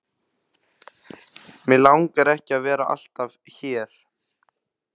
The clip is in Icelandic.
Mig langar ekki að vera alltaf hér.